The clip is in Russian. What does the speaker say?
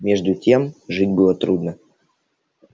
между тем жить было трудно